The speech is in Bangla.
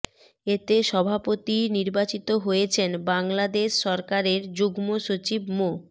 এতে সভাপতি নির্বাচিত হয়েছেন বাংলাদেশ সরকারের যুগ্ম সচিব মো